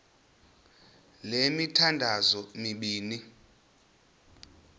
le mithandazo mibini